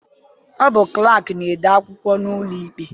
Ọ bụ klaakị na-ede akwụkwọ n'ụlọikpe.